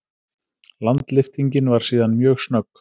Landlyftingin var síðan mjög snögg.